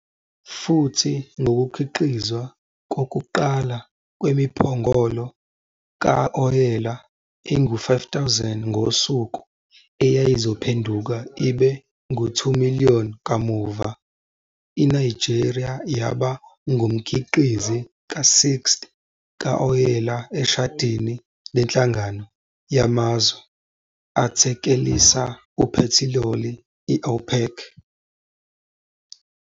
Futhi ngokukhiqizwa kokuqala kwemiphongolo ka-oyela engu-5 000 ngosuku, eyayizophenduka ibe ngu-2,000,000 kamuva, iNigeria yaba ngumkhiqizi ka-6th kawoyela eshadini leNhlangano Yamazwe Athekelisa Uphethiloli i-OPEC.